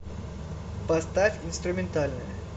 поставь инструментальная